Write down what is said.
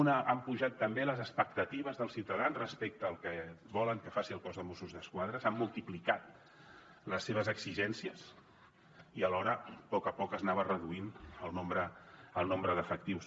una han pujat també les expectatives dels ciutadans respecte al que volen que faci el cos de mossos d’esquadra s’han multiplicat les seves exigències i alhora poc a poc s’anava reduint el nombre d’efectius